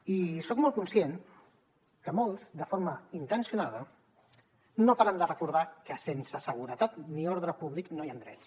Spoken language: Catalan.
i soc molt conscient que molts de forma intencionada no paren de recordar que sense seguretat ni ordre públic no hi han drets